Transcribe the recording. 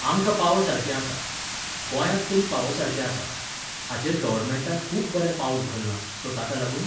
आमकां पावसारकें आसा, गोंयांत तरी पावसारकें आसा. हाचेर गव्हर्मेंटान खूब बरें पावल उखल्लां, सो ताका लागून